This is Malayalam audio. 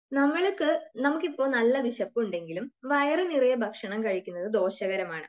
നമ്മൾക്ക് , നമുക്കു ഇപ്പോ നല്ല വിശപ്പുണ്ടെങ്കിലും വയറു നിറയെ ഭക്ഷണം കഴിക്കുന്നത് ദോഷകരമാണ്.